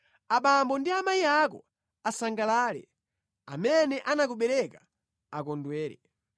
Abambo ndi amayi ako asangalale; amene anakubereka akondwere!